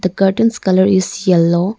the curtains colour is yellow.